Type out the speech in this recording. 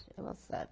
Ela sabe.